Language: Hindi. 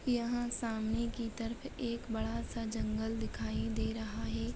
यहाँ सामने की तरफ एक बड़ा सा जंगल दिखाई दे रहा है।